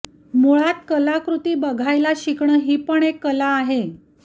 मुळात कलाकृती बघायला शिकणं ही पण एक कला आहे